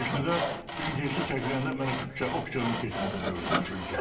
Gün keçdi də Gün keçdi çəkiləndə mənə o küçədən keçmirdim film çəkiləndə.